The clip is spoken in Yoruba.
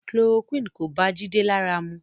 Chloroquine kò bá Jide lára mu